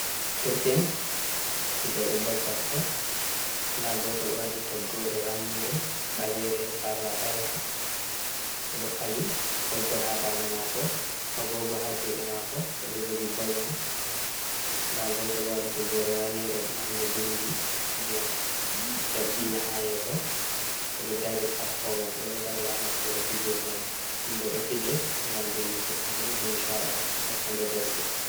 Derke'en fije be bol kosde da goto do wadi toggori rammunde, balere, sarla baleha odo fali boggol ha dande mako agogo ha jude mako odo jogi bolman da goto do wadi toggori ranere marne bindi ndiyam jergina ha yeso odo dari sappo mo be do dari ha nokkure fijirde man de do fije gam dimbuki bandu be nisada hakkunde derke en.